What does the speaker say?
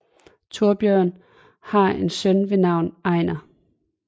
Thorbjørn har en søn ved navn Ejnar